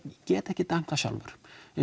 get ekkert dæmt það sjálfur